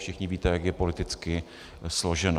Všichni víte, jak je politicky složeno.